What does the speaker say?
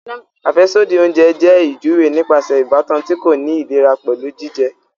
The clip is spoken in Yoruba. Afẹsodi oúnjẹ jẹ ijuwe nípasẹ ìbátan ti ko ni ìlera pẹlu jijẹ